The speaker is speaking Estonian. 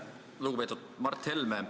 Lugupeetud Mart Helme!